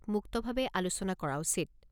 মুক্তভাৱে আলোচনা কৰা উচিত।